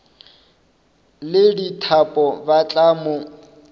le dithapo ba tla mo